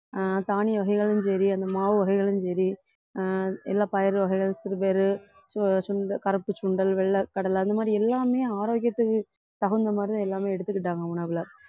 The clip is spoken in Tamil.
ஆஹ் தானிய வகைகளும் சரி அந்த மாவு வகைகளும் சரி ஆஹ் எல்லா பயிறு வகைகள் சிறுபயறுசு~ சுண்டல் கருப்பு சுண்டல் வெள்ளை கடலை அந்த மாதிரி எல்லாமே ஆரோக்கியத்துக்கு தகுந்த மாதிரிதான் எல்லாமே எடுத்துக்கிட்டாங்க உணவுல